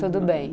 Tudo bem.